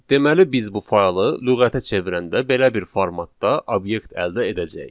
Deməli, biz bu faylı lüğətə çevirəndə belə bir formatda obyekt əldə edəcəyik.